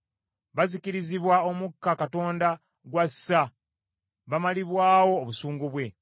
Bazikirizibwa omukka Katonda gw’assa, bamalibwawo obusungu bwe.